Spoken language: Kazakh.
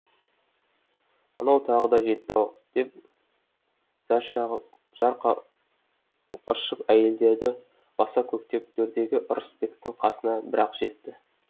мынау тағы да жетті ау деп зар зар қағып ыршып әйелдерді баса көктеп төрдегі ырысбектің қасына бір ақ жетті